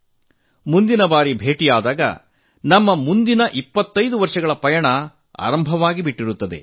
ನಾವು ಮುಂದಿನ ಬಾರಿ ಭೇಟಿಯಾಗುವಷ್ಟರಲ್ಲಿ ನಮ್ಮ ಮುಂದಿನ 25 ವರ್ಷಗಳ ಪಯಣ ಆರಂಭವಾಗಿರುತ್ತದೆ